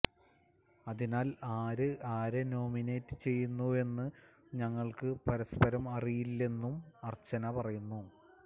അതിനാല് ആര് ആരെ നോമിനേറ്റ് ചെയ്യുന്നുവെന്നു ഞങ്ങള്ക്ക് പരസ്പരം അറിയില്ലെന്നും അര്ച്ചന പറയുന്നു